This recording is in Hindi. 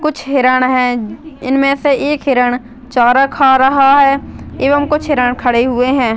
कुछ हिरण है इनमे से एक हिरण चारा खा रहा है एवं कुछ हिरण खड़े हुए है।